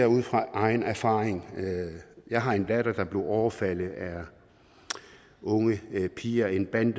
ud fra egen erfaring jeg har en datter der blev overfaldet af unge piger af en bande